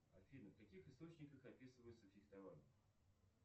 афина в каких источниках описывается фехтование